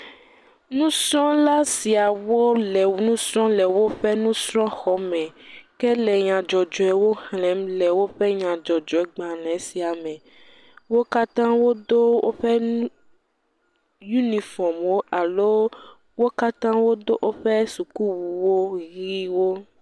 Nusrɔ̃la siawo le nu srɔ̃m le woƒe nusrɔ̃xɔme, ke le nyadzɔdzɔewo xlẽm le woƒe nyadzɔdzɔegbalẽ sia me, wo katã wodo woƒe unifɔmwo alo wo katã wodo woƒe sukuwuwo ʋɛ̃wo.